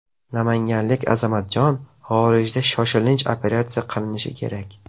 Namanganlik Azamatjon xorijda shoshilinch operatsiya qilinishi kerak.